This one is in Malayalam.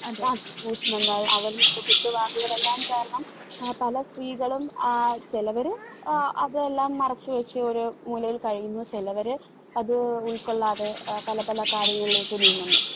ആ ചൂഷണങ്ങൾ അവരിൽ നിന്നുള്ള കുത്തു വാക്കുകളെല്ലാം കാരണം ഏഹ് പല സ്ത്രീകളും ആ ചെലവര് ആ അതെല്ലാം മറച്ചുവെച്ച് ഒരു മൂലയിൽ കഴിയുന്നു ചെലവര് അത് ഉൾക്കൊള്ളാതെ പല പല കാര്യങ്ങളിലേക്ക് നീങ്ങുന്നു.